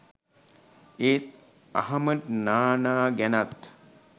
ඒත් අහමඩ් නානා ගැනත්